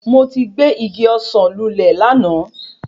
Mo ti gé igi ọsán lulè láàná